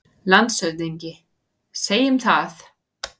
LANDSHÖFÐINGI: Segjum það.